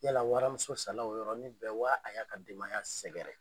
Yala waramuso sala o yɔrɔni bɛɛ wa a y'a ka denbaya sɛgɛrɛ?